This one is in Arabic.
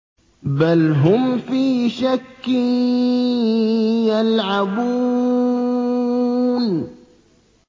بَلْ هُمْ فِي شَكٍّ يَلْعَبُونَ